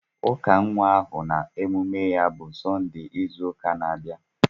Ụka nwa ahụ na emume ya bụ Sọnde ịzu ụka na-abịa